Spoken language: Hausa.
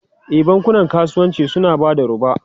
E, bankunan kasuwanci suna ba da roba.